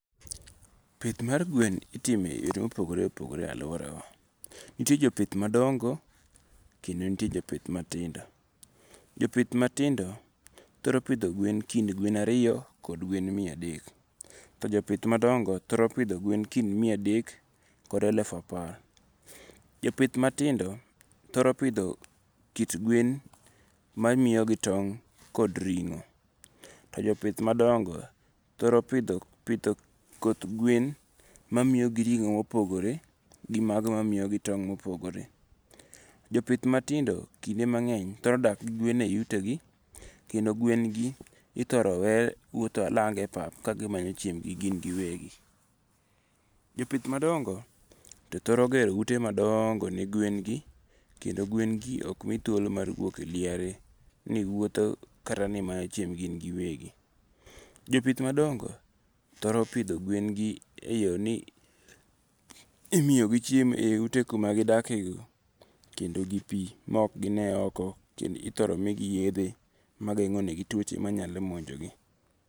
Pith mar gwen ipidho e yore mopogore opogore e aluorawa. Nitie jopith madongo, kendo nitie jopith matindo. Jopith matindo thoro pidho gwen kind gwen ariyo kod gwen miya adek. To jopith madongo thoro pidho gwen kind miya adek kod elufu apar. Jopith matindo thoro pidho kit gwen mamiyogi tong' kod ring'o, to jopith madongo thoro pidho koth gwen mamiyogi ring'o mopogore gi mago mamiyogi tong' mopogore. Jopith matindo kinde mang'eny thoro dak gi gwen ei utegi kendo gwen gi ithoro we wuotho alanga e pap ka gimanyo chiembgi gin giwegi. Jopith madongo to thoro gero ute madongo ne gwen gi, kendo gwen gi ok mi thuolo mar wuok e liare, ni wuotho kata manyo chiembgi gin giwegi. Jopith madongo thoro pidho gwen e yo ni imiyogi chiemo eiute kuma gidakie no, kendo gi pi maok gine oko. Ithoro migi yedhe mageng'o negi tuoche mathoro monjo gi.